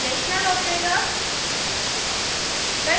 relational operators